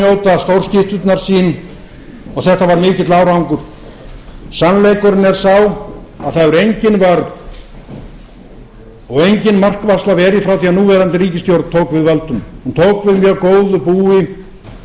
njóta stórskytturnar sín þetta var mikill árangur sannleikurinn er sá að það hefur engin vörn og engin markvarsla verið frá því að núverandi ríkisstjórn tók við völdum hún tók við mjög góðu búi